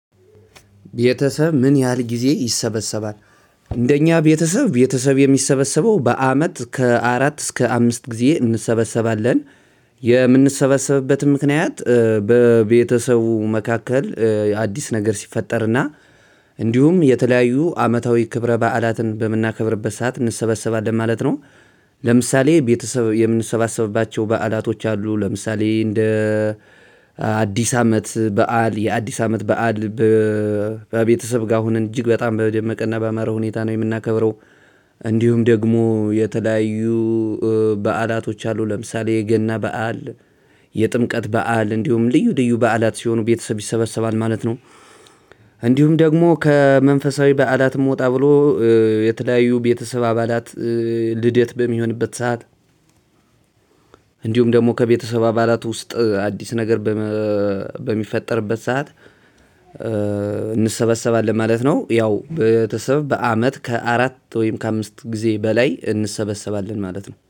ቤተሰብ ምን ያህል ጊዜ ይሰበሰባል? እንደኛ ቤተሰብ ቤተሰብ የሚሰበሰበው በአመት ከአራት እስከ አምስት ጊዜ እንሰበሰባለን። የምንሰበሰብበትም ምክንያት በቤተሰቡ መካከል አዲስ ነገር ሲፈጠርና እንዲሁም የተለያዩ አመታዊ ክብረ በዓላትን በምናከብርበት ሰዓት እንሰበሰባለን ማለት ነው። ለምሳሌ ቤተሰብ የምንሰባሰብባቸው በዓላቶች አሉ። ለምሳሌ እንደ አዲስ አመት በዓል የአዲስ አመት በዓል። በቤተሰብ ጋር አሁን እጅግ በጣም በደመቀ እናባመረ ሁኔታ ነው የምናከብረው። እንዲሁም ደግሞ የተለያዩ በዓላቶች አሉ ለምሳሌ የገና በዓል የጥምቀት በዓል እንዲሁም ልዩ ልዩ በዓላት ሲሆኑ ቤተሰብ ይሰበሰባል ማለት ነው። እንዲሁም ደግሞ ከመንፈሳዊ በዓላትም ወጣ ብሎ የተለያዩ ቤተሰብ አባላት ልደት በሚሆንበት ሰዓት እንዲሁም ደግሞ ከቤተሰብ አባላት ውስጥ አዲስ ነገር በሚፈጠርበት ሰዓት እንሰበሰባለን ማለት ነው። ያው ቤተሰብ በአመት ከአራት ወይም ከአምስት ጊዜ በላይ እንሰበሰባለን ማለት ነው